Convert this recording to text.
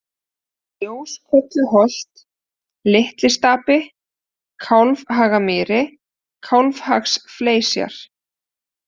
Ljóskolluholt, Litli-Stapi, Kálfhagamýri, Kálfhagaflesjar